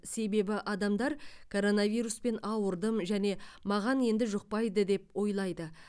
себебі адамдар коронавируспен ауырдым және маған енді жұқпайды деп ойлайды